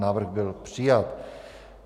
Návrh byl přijat.